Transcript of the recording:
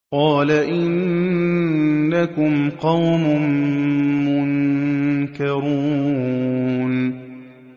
قَالَ إِنَّكُمْ قَوْمٌ مُّنكَرُونَ